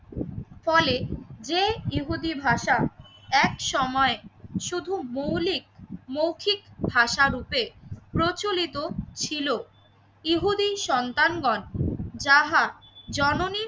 ফলে যে ইহুদি ভাষা একসময় শুধু মৌলিক মৌখিক ভাষা রূপে প্রচলিত ছিল ইহুদী সন্তানগণ, যাহা জননীর